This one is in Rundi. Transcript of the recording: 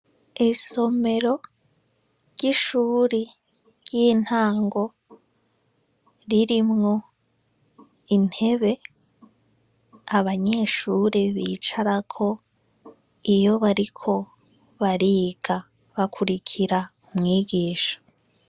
Isomero ry'ishure ry'intango ririmwo intebe, abanyeshure bicarako iyo bariko bariga, bakurikira umwigisha.